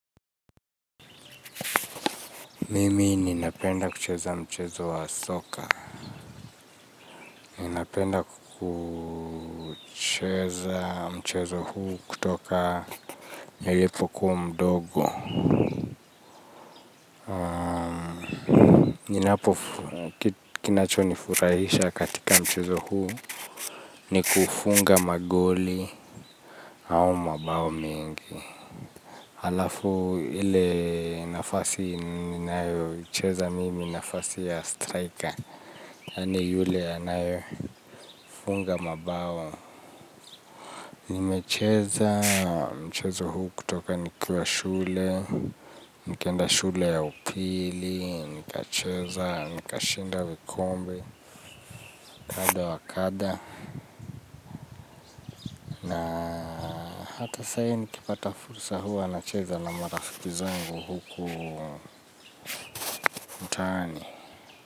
Mimi ninapenda kucheza mchezo wa soka. Ninapenda kucheza mchezo huu kutoka nilipokuwa mdogo. Ninapo kinacho nifurahisha katika mchezo huu ni kufunga magoli au mabao mengi halafu ile nafasi ninayocheza mimi ni nafasi ya striker, yaani yule anayefunga mabao. Nimecheza, mchezo huu kutoka nikiwa shule, nikienda shule ya upili, nikacheza, nika shinda vikombe, kadha wa kadha. Na hata sahi nikipata fursa huwa nacheza na marafiki zangu huku ni.